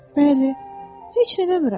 Bəli, heç nə eləmirəm.